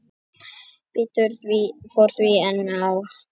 Betur fór því en á horfðist